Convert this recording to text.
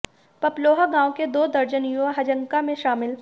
पपलोहा गांव के दो दर्जन युवा हजकां में शामिल